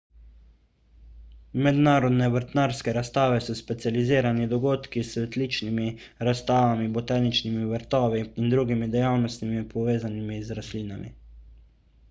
mednarodne vrtnarske razstave so specializirani dogodki s cvetličnimi razstavami botaničnimi vrtovi in drugimi dejavnostmi povezanimi z rastlinami